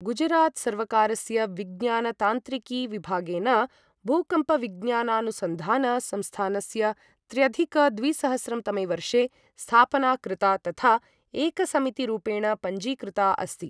गुजरात सर्वकारस्य विज्ञान तान्त्रिकी ्विभागेन, भूकम्पविज्ञानानुसंधान संस्थानस्य त्र्यधिक द्विसहस्रं तमे वर्षे स्थापना कृता तथा एकसमिति रूपेण पञ्जीकृता अस्ति।